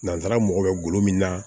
Nansara mago bɛ golo min na